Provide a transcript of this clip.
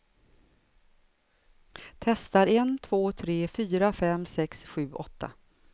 Testar en två tre fyra fem sex sju åtta.